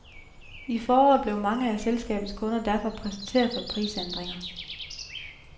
I foråret blev mange af selskabets kunder derfor præsenteret for prisændringer.